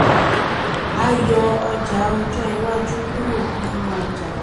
a yọ ọjà ọjọ́ iwájú kúrò nínú ọjà.